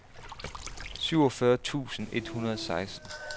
syvogfyrre tusind et hundrede og seksten